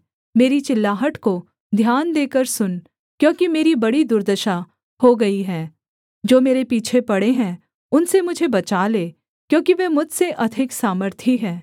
मेरी चिल्लाहट को ध्यान देकर सुन क्योंकि मेरी बड़ी दुर्दशा हो गई है जो मेरे पीछे पड़े हैं उनसे मुझे बचा ले क्योंकि वे मुझसे अधिक सामर्थी हैं